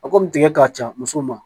A kɔni tigɛ ka ca musow ma